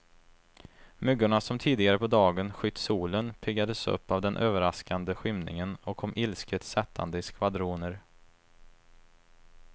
Myggorna som tidigare på dagen skytt solen, piggades upp av den överraskande skymningen och kom ilsket sättande i skvadroner.